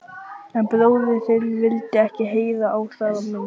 En bróðir þinn vildi ekki heyra á það minnst.